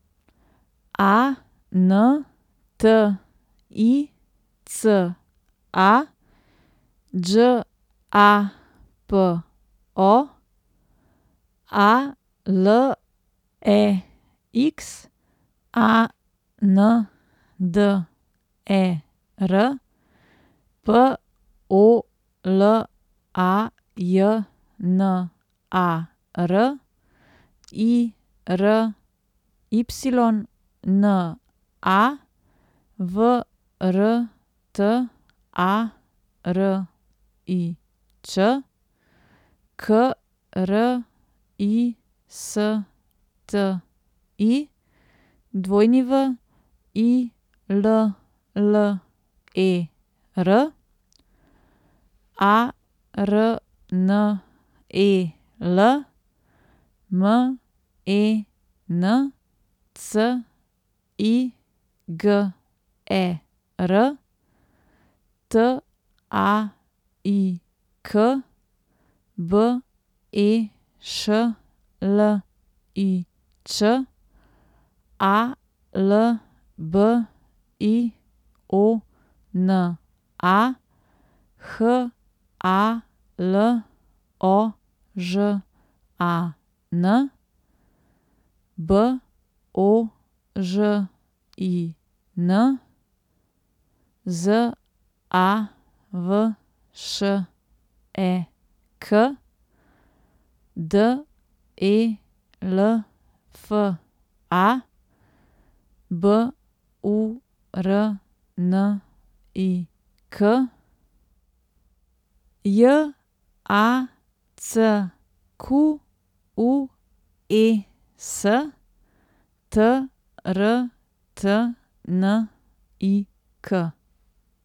A N T I C A, Đ A P O; A L E X A N D E R, P O L A J N A R; I R Y N A, V R T A R I Č; K R I S T I, W I L L E R; A R N E L, M E N C I G E R; T A I K, B E Š L I Ć; A L B I O N A, H A L O Ž A N; B O Ž I N, Z A V Š E K; D E L F A, B U R N I K; J A C Q U E S, T R T N I K.